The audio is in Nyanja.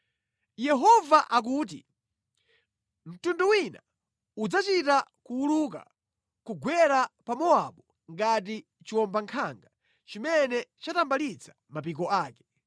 Yehova akuti, “Mtundu wina udzachita kuwuluka nʼkugwera pa Mowabu ngati chiwombankhanga chimene chatambalitsa mapiko ake.